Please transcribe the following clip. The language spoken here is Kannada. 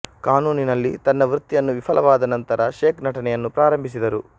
ಕಾನೂನಿನಲ್ಲಿ ತನ್ನ ವೃತ್ತಿಯನ್ನು ವಿಫಲವಾದ ನಂತರ ಶೇಖ್ ನಟನೆಯನ್ನು ಪ್ರಾರಂಭಿಸಿದರು